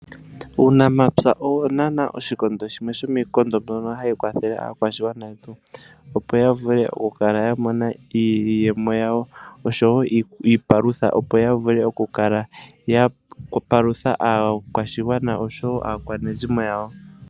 Uunamapya owo nana oshikondo shimwe shoka hashi kwathele aakwashigwana yetu opo ya vule okukala yamona iiyemo yawo osho woo iipalutha opo yavule oku kala yapalutha aakwashigwana osho woo aakwanezimo yawo.